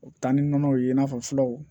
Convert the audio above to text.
U bɛ taa ni nɔnɔw ye i n'a fɔ filaw